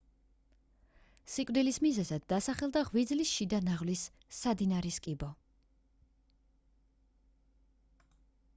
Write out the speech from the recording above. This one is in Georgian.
სიკვდილის მიზეზად დასახელდა ღვიძლის შიდა ნაღვლის სადინრის კიბო